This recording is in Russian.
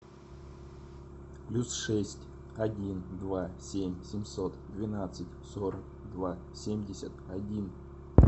плюс шесть один два семь семьсот двенадцать сорок два семьдесят один